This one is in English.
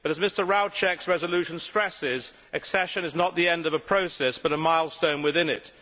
But as Mr Rouček's resolution stresses, accession is not the end of a process but a milestone within it.